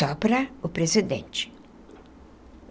Só para o presidente.